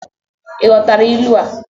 Ị ghọtara ilu a?